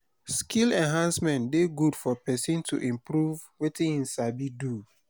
skill enhancement de good for persin to improve wetin im sabi do